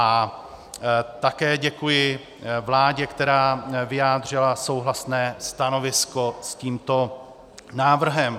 A také děkuji vládě, která vyjádřila souhlasné stanovisko s tímto návrhem.